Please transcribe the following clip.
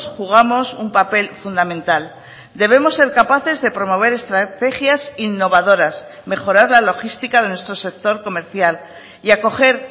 jugamos un papel fundamental debemos ser capaces de promover estrategias innovadoras mejorar la logística de nuestro sector comercial y acoger